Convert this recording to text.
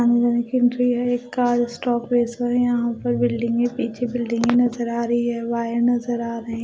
अंदर एक एंट्री है एक कार स्टॉपेज है और यहां पे बिल्डिंग के पीछे बिल्डिंगे के नजर आ रही हैं वायर नजर आ रही है।